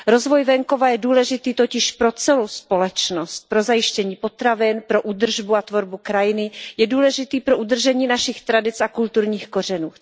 Rozvoj venkova je důležitý pro celou společnost, pro zajištění potravin, pro údržbu a tvorbu krajiny, je důležitý pro udržení našich tradic a kulturních kořenů.